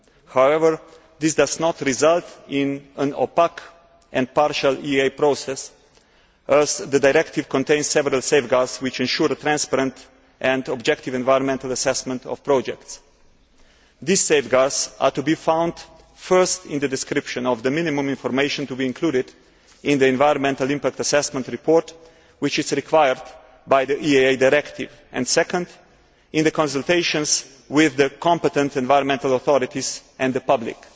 However, this does not result in an opaque and partial EIA process as the directive contains several safeguards which ensure a transparent and objective environmental assessment of projects. These safeguards are to be found, firstly, in the description of the minimum information to be included in the environmental impact assessment report which is required by the EIA Directive and, secondly, in the consultations with the competent environmental authorities and the public.